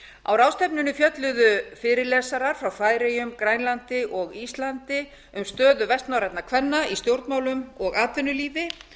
á ráðstefnunni fjölluðu fyrirlesarar frá færeyjum grænlandi og íslandi um stöðu vestnorrænna kvenna í stjórnmálum og atvinnulífi